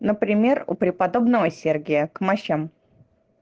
например у преподобного сергея к мощам